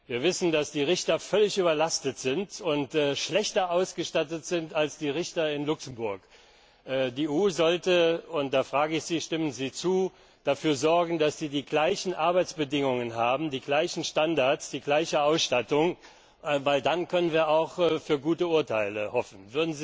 Wir wissen, dass die Richter völlig überlastet sind und schlechter ausgestattet sind als die Richter in Luxemburg. Die EU sollte und da frage ich Sie, ob Sie zustimmen dafür sorgen, dass sie die gleichen Arbeitsbedingungen, die gleichen Standards, die gleiche Ausstattung haben, denn dann können wir auch auf gute Urteile hoffen.